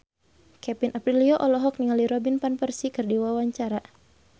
Kevin Aprilio olohok ningali Robin Van Persie keur diwawancara